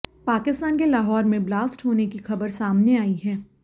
पाकिस्तान के लाहौर में ब्लास्ट होने की खबर सामने आई है